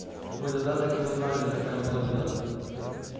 мы тогда так и узнали какая была беда